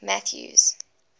mathews